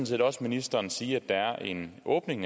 set også ministeren sige at der netop er en åbning i